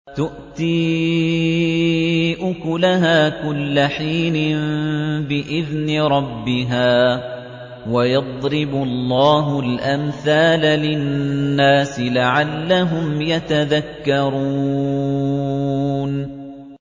تُؤْتِي أُكُلَهَا كُلَّ حِينٍ بِإِذْنِ رَبِّهَا ۗ وَيَضْرِبُ اللَّهُ الْأَمْثَالَ لِلنَّاسِ لَعَلَّهُمْ يَتَذَكَّرُونَ